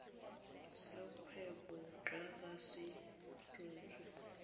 sa kgwebo jaaka se rebotswe